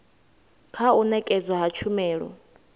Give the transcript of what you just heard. kha u nekedzwa ha tshumelo